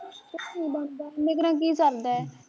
ਇਨੇ ਕੁ ਨਾਲ਼ ਕੀ ਸਰਦਾ ਐ ਕੁਸ਼ ਨੀ ਬਣਦਾ